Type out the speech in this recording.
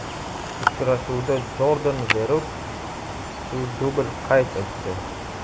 Uchrashuvda Jordan Veretu dubl qayd etdi.